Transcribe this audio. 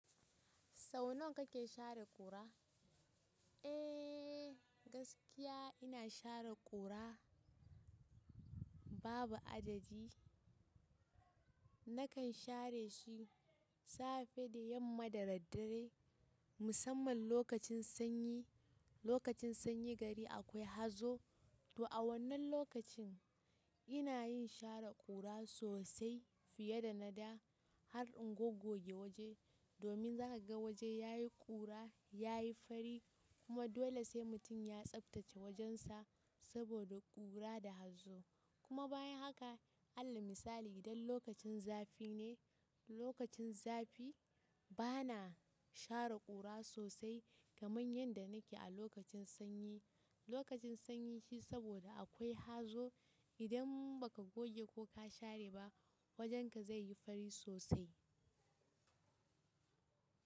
Sau nawa kake share ƙura? Eh gaskiya ina share ƙura babu adadi. Nakan share shi safe da yamma da daddare musamman lokacin sanyi, lokacin sanyi gari akwai hazo. To a wannan lokacin ina yin share ƙura sosai fiye da na da har in goggoge waje domin za ka ga waje yayi ƙura, yayi fari kuma dole sai mutum ya tsaftace wajensa saboda ƙura da hazo. Kuma bayan haka, alal misali idan lokacin zafi ne, lokacin zafi bana share ƙura sosai kaman yanda nake a lokacin sanyi. Lokacin sanyi shi saboda akwai hazo idan ba ka goge ko ka share ba wajenka zai yi fari sosai.